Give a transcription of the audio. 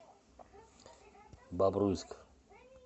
бобруйск